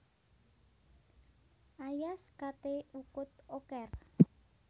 Ayas kate ukut oker